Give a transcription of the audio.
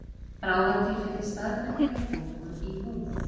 bráðatilfelli staðbundinnar bólgu í húð